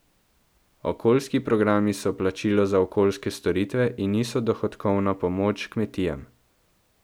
Okoljski programi so plačilo za okoljske storitve in niso dohodkovna pomoč kmetijam.